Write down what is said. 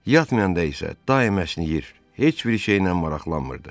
Yatmayanda isə daim əsnəyir, heç bir şeylə maraqlanmırdı.